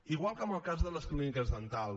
igual que en el cas de les clíniques dentals